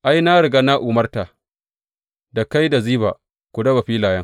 Ai, na riga na umarta, da kai, da Ziba ku raba filayen.